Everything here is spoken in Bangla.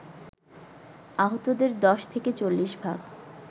আহতদের ১০ থেকে ৪০ ভাগ